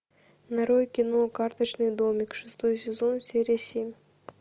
нарой кино карточный домик шестой сезон серия семь